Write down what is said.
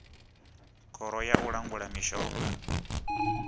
khoro ya u langula mishonga